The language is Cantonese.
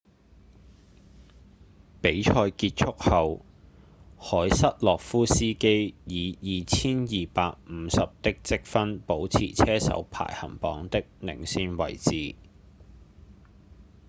比賽結束後凱瑟洛夫斯基以 2,250 的積分保持車手排行榜的領先地位